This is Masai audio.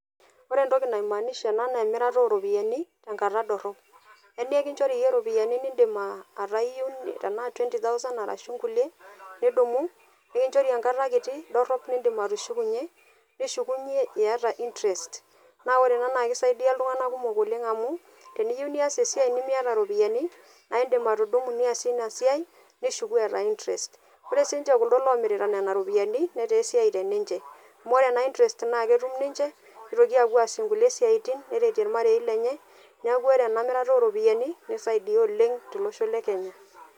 Orentoki naimaanisha ena neemirata oropiyani tenkata dorrop. Emeekinchori iyie iropiyani nindim aatayeu tenaa twenty thousand arashuu kulie nidumu nikinchori enkata kiti dorrop nindim atushukunye. Nishukunye iata  interest naa ore ena naakeisaidia iltung'ana kumok oleng' amu teniyou nias esiai nimiata iropiyani naaidim atudumu niasie sii inasiai nishuku eeta  interest. Ore siinche kuldo lomirita nena ropiyani netaa esiai teninche amu ore ena interest naaketum ninche nitoki aapuo aasie nkulie siaitin neretie ilmarei lenye neaku ore ena mirata oropiyani neisaidia oleng' tolosho le Kenya.